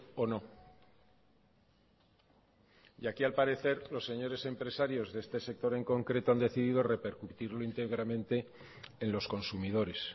o no y aquí al parecer los señores empresarios de este sector en concreto han decidido repercutirlo íntegramente en los consumidores